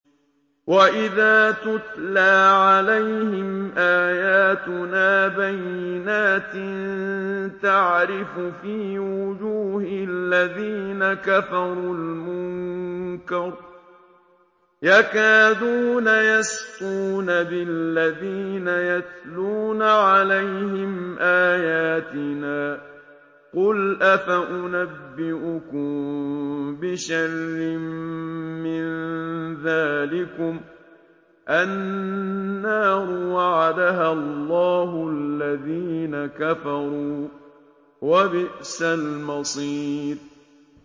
وَإِذَا تُتْلَىٰ عَلَيْهِمْ آيَاتُنَا بَيِّنَاتٍ تَعْرِفُ فِي وُجُوهِ الَّذِينَ كَفَرُوا الْمُنكَرَ ۖ يَكَادُونَ يَسْطُونَ بِالَّذِينَ يَتْلُونَ عَلَيْهِمْ آيَاتِنَا ۗ قُلْ أَفَأُنَبِّئُكُم بِشَرٍّ مِّن ذَٰلِكُمُ ۗ النَّارُ وَعَدَهَا اللَّهُ الَّذِينَ كَفَرُوا ۖ وَبِئْسَ الْمَصِيرُ